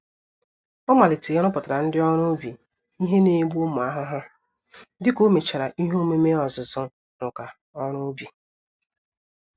Ọ malitere ịrụpụtara ndị ọrụ ubi ihe N'egbu ụmụ ahụhụ, dịka omechara ihe omume ọzụzụ nka-oru-ubi.